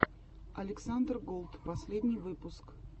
александр голд последний выпуск